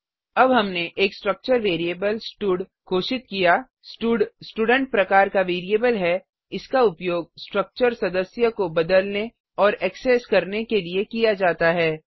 अब हमने एक स्ट्रक्चर वेरिएबल स्टड घोषित किया स्टड स्टूडेंट प्रकार का वेरिएबल है इसका उपयोग स्ट्रक्चर सदस्यमेम्बर्स को बदलने और एक्सेस करने के लिए किया जाता है